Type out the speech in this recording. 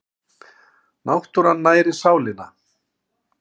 Náttúran nærir sálina